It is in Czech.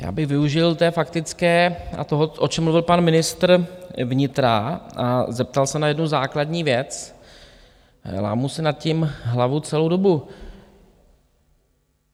Já bych využil té faktické a toho, o čem mluvil pan ministr vnitra, a zeptal se na jednu základní věc, lámu si nad tím hlavu celou dobu.